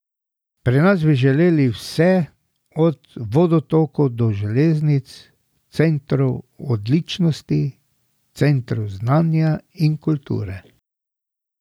Pri nas bi želeli vse, od vodotokov do železnic, centrov odličnosti, centrov znanja in kulture.